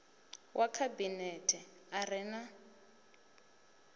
wa khabinethe a re na